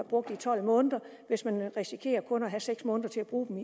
brugt i tolv måneder hvis man risikerer kun at have seks måneder til at bruge dem